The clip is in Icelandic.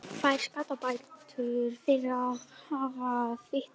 Fær skaðabætur fyrir að hafa fitnað